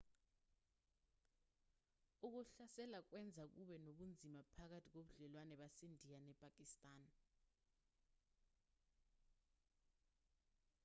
ukuhlasela kwenza kube nobunzima phakathi kobudlelwane basendiya nepakistan